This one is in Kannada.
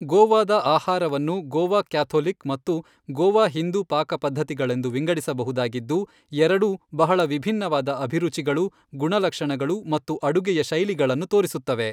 ಗೋವಾದ ಆಹಾರವನ್ನು ಗೋವಾ ಕ್ಯಾಥೊಲಿಕ್ ಮತ್ತು ಗೋವಾ ಹಿಂದೂ ಪಾಕಪದ್ಧತಿಗಳೆಂದು ವಿಂಗಡಿಸಬಹುದಾಗಿದ್ದು, ಎರಡೂ ಬಹಳ ವಿಭಿನ್ನವಾದ ಅಭಿರುಚಿಗಳು, ಗುಣಲಕ್ಷಣಗಳು ಮತ್ತು ಅಡುಗೆಯ ಶೈಲಿಗಳನ್ನು ತೋರಿಸುತ್ತವೆ.